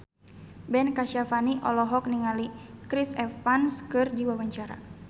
Ben Kasyafani olohok ningali Chris Evans keur diwawancara